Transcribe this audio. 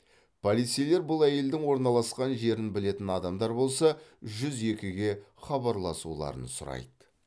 полицейлер бұл әйелдің орналасқан жерін білетін адамдар болса жүз екіге хабарласуларын сұрайды